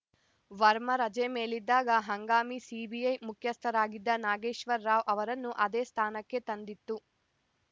ವರ್ಮಾ ರಜೆ ಮೇಲಿದ್ದಾಗ ಹಂಗಾಮಿ ಸಿಬಿಐ ಮುಖ್ಯಸ್ಥರಾಗಿದ್ದ ನಾಗೇಶ್ವರ ರಾವ್‌ ಅವರನ್ನು ಅದೇ ಸ್ಥಾನಕ್ಕೆ ತಂದಿತ್ತು